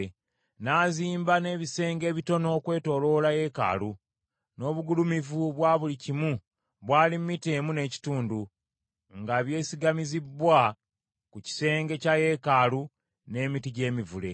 N’azimba n’ebisenge ebitono okwetooloola yeekaalu, n’obugulumivu bwa buli kimu bwali mita emu n’ekitundu, nga byesigamizibbwa ku kisenge kya yeekaalu n’emiti gy’emivule.